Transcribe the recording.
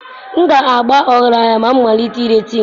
M ga-aba ọgaranya ma m malite ire tin